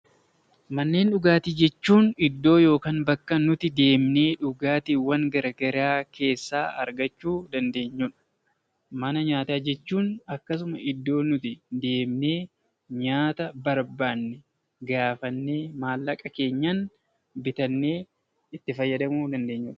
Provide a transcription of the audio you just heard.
Manneen dhugaatii jechuun iddoo yookaan bakka nuti deemnee dhugaatiiwwan gara garaa keessaa argachuu dandeenyudha. Mana nyaataa jechuun akkasuma nuti deemnee nyaata barbaanne gaafannee, maallaqa keenyan bitannee itti fayyadamuu dandeenyudha.